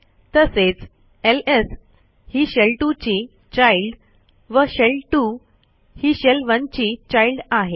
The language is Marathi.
तसेच lsही शेल2 ची चाइल्ड व शेल2 ही शेल1 ची childआहे